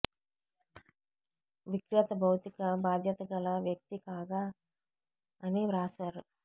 విక్రేత భౌతిక బాధ్యతగల వ్యక్తి కాదా అని వ్రాసారు